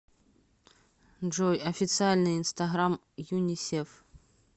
джой официальный инстаграм юнисеф